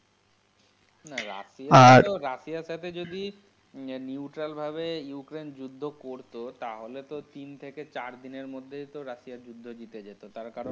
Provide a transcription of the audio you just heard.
না রাশিয়া এর তো, রাশিয়া এর সাথে যদি neutral ভাবে ইউক্রেইন্ যুদ্ধ করতো তাহলে তো তিন থেকে চারদিনের মধ্যেই তো রাশিয়া যুদ্ধ জিতে যেতো তার কারণ।